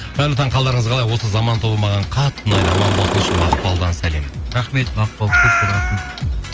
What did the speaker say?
қайырлы таң қалдарыңыз қалай осы заман тобы маған қатты ұнайды аман болсыншы мақпалдан сәлем рахмет мақпал көп көп рахмет